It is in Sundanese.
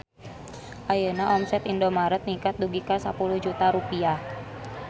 Ayeuna omset Indomart ningkat dugi ka 10 juta rupiah